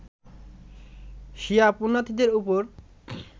শিয়া পূণ্যার্থীদের ওপর